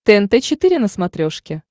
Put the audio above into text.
тнт четыре на смотрешке